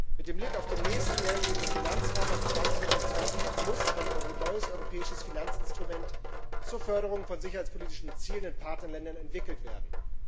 Mit Blick auf den nächsten mehrjährigen Finanzrahmen ab 2021 muss ein neues europäisches Finanzinstrument zur Förderung von sicherheitspolitischen Zielen in Partnerländern entwickelt werden.